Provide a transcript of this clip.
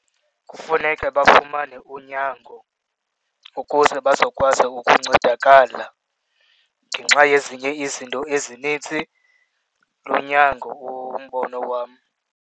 Kufuneka bafumane unyango ukuze bazokwazi ukuncedakala ngenxa yezinye izinto ezinintsi lunyango umbono wam.